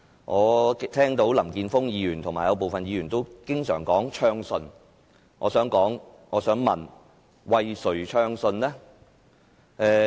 我聽到林健鋒議員及部分議員經常提及暢順，我想問為誰暢順？